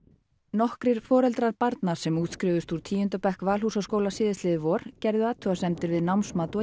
nokkrir foreldrar barna sem útskrifuðust úr tíunda bekk Valhúsaskóla síðastliðið vor gerðu athugasemdir við námsmat